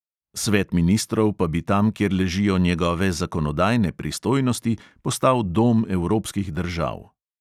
Svet ministrov pa bi tam, kjer ležijo njegove zakonodajne pristojnosti, postal dom evropskih držav.